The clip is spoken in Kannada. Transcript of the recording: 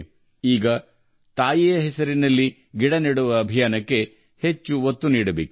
ಈಗ ತಾಯಿಯ ಹೆಸರಿನಲ್ಲಿ ಗಿಡ ನೆಡುವ ಅಭಿಯಾನಕ್ಕೆ ವೇಗ ನೀಡಬೇಕಿದೆ